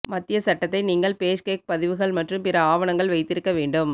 மத்திய சட்டத்தை நீங்கள் பேஷ்கேக் பதிவுகள் மற்றும் பிற ஆவணங்கள் வைத்திருக்க வேண்டும்